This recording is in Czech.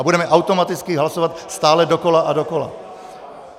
A budeme automaticky hlasovat stále dokola a dokola.